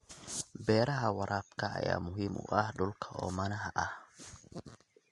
Beeraha Beeraha waraabka ayaa muhiim u ah dhulka oomanaha ah.